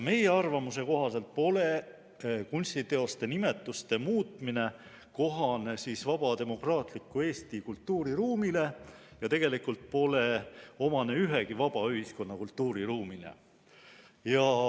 Meie arvamuse kohaselt pole kunstiteoste nimetuste muutmine kohane vaba demokraatliku Eesti kultuuriruumile ja tegelikult pole omane ühegi vaba ühiskonna kultuuriruumile.